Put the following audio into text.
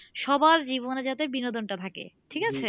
সবার জীবনে যাতে বিনোদনটা থাকে ঠিক আছে